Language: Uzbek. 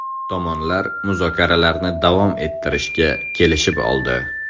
Tomonlar muzokaralarni davom ettirishga kelishib oldi.